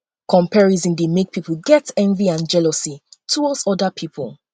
comparison dey make pipo get envy and jealously towards oda pipo